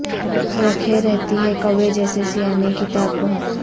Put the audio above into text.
رکھے رہتی ہے کوے جیسے سیا نے کی تاک بہت